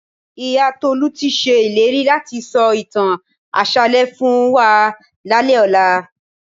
Ìyá Tolú ti ṣe ìlérí láti sọ ìtàn àṣálẹ́ fún wa lálẹ́ ọ̀la